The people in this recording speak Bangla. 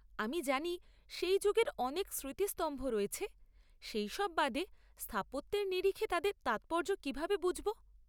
আমরা জানি সেই যুগের অনেক স্মৃতিস্তম্ভ রয়েছে, সেইসব বাদে, স্থাপত্যের নিরিখে তাদের তাৎপর্য কীভাবে বুঝব?